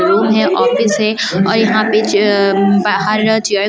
room है office है और यहाँ पे चे अ बाहर चेयर कुछ --